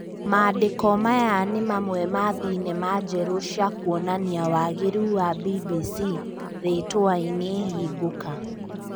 Maandĩko maya nĩ mamwe ma thinema njerũ cia kũonania wageru wa BBC rĩĩtuainĩ hingũka